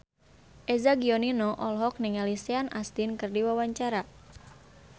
Eza Gionino olohok ningali Sean Astin keur diwawancara